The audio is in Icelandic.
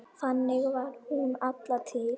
Þannig var hún alla tíð.